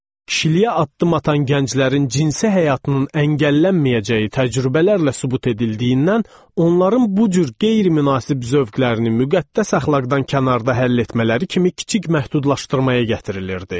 Kişiliyə addım atan gənclərin cinsi həyatının əngəllənməyəcəyi təcrübələrlə sübut edildiyindən, onların bu cür qeyri-münasib zövqlərini müqəddəs əxlaqdan kənarda həll etmələri kimi kiçik məhdudlaşdırmaya gətirilirdi.